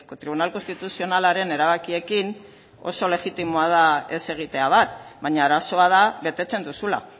tribunal konstituzionalaren erabakiekin oso legitimoa da ez egitea bat baina arazoa da betetzen duzula